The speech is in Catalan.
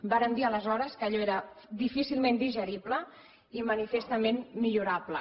vàrem dir aleshores que allò era difícilment digerible i manifestament millorable